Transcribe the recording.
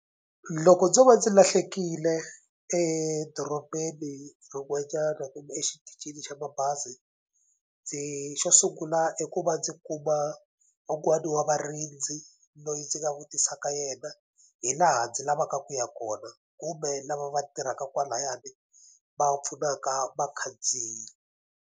Loko ndzo va ndzi lahlekile edorobeni rin'wanyana kumbe exitichini xa mabazi ndzi xo sungula i ku va ndzi kuma wun'wani wa varindzi loyi ndzi nga vutisaka yena hi laha ndzi lavaka ku ya kona kumbe lava va tirhaka kwalayani va pfunaka vakhandziyi.